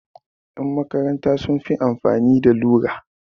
Ƴan makaranta sun fi amfani da lura.